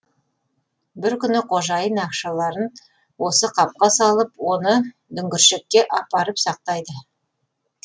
бір күні қожайын ақшаларын осы қапқа салып оны дүңгіршекке апарып сақтайды